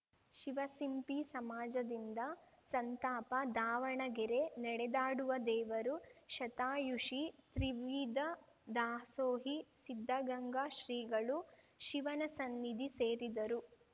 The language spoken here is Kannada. ಶಿವಸಿಂಪಿ ಸಮಾಜದಿಂದ ಸಂತಾಪ ದಾವಣಗೆರೆ ನೆಡೆದಾಡುವ ದೇವರು ಶತಾಯುಷಿ ತ್ರಿವಿಧ ದಾಸೋಹಿ ಸಿದ್ಧಗಂಗಾ ಶ್ರೀಗಳು ಶಿವನ ಸನ್ನಿಧಿ ಸೇರಿದರು